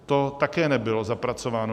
To také nebylo zapracováno.